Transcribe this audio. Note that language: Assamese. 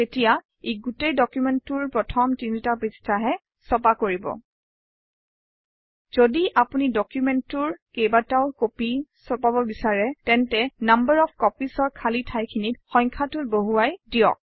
তেতিয়া ই গোটেই ডকুমেণ্টটোৰ প্পৰথম তিনিটা পৃষ্ঠাহে ছপা কৰিব যদি আপুনি ডকুমেণ্টটোৰ কেইবাটাও কপি ছপাব বিচাৰে তেন্তে নাম্বাৰ অফ copies অৰ খালী ঠাইখিনিত সংখ্যাটো বহুৱাই দিয়ক